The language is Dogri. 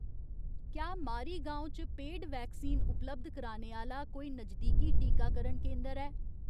क्या मारीगाँव च पेड वैक्सीन उपलब्ध कराने आह्‌ला कोई नजदीकी टीकाकरण केंदर ऐ ?